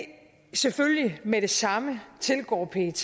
selvfølgelig med det samme tilgår pet